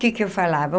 O que que eu falava?